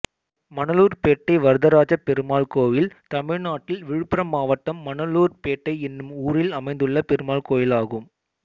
மணலூர்பேட்டை வரதராஜப்பெருமாள் கோயில் தமிழ்நாட்டில் விழுப்புரம் மாவட்டம் மணலூர்பேட்டை என்னும் ஊரில் அமைந்துள்ள பெருமாள் கோயிலாகும்